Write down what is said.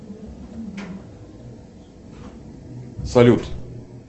салют